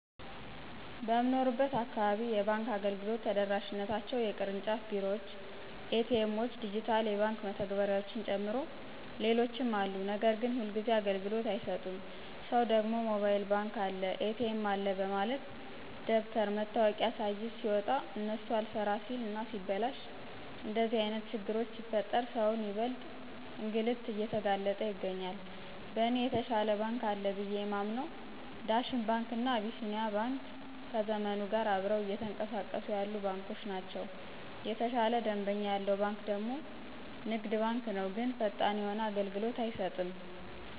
በምንኖርበት አካባቢ የባንክ አገልግሎቶች ተደራሽነታቸው የቅርጫፍ ቢሮዎች፣ ኤ.ቲ. ኤሞዎች፣ ድጅታል የባክ መተግበርያዎችን ጨምሮ ሌሎችም አሉ ነገር ግን ሁልጊዜ አገልግሎት አይሰጡም ሰው ደግሞ ሞባይል ባንክ አለ፣ ኤ.ቲ.ኤም አለ በማለት ደብተር መታወቂያ ስይዝ ሲወጣ እነሱ አልሰራ ሲል እና ሲበላሽ እንደዚህ አይነት ችግሮች ሲፈጠር ሰውን ይበልጥ እንግልት እየተጋለጠ ይገኛል። በእኔ የተሻለ ባንክ አለ ብየ የማምንው ዳሽን ባንክ እና አቢሲኒያ ባንክ ከዘመኑ ጋር አብረው እየተኅቀሳቀሱ ያሉ ባንኮች ናቸው። የተሻለ ደንበኛ ያለው ባንክ ደግሞ ንግድ ባንክ ነው ግን ፈጣን የሆነ አገልሎት አይሰጥም።